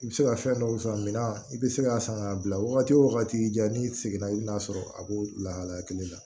I bɛ se ka fɛn dɔw sɔrɔ minna i bɛ se k'a san k'a bila wagati wo wagati i da n'i seginna i bɛ na sɔrɔ a b'o lahalaya kelen na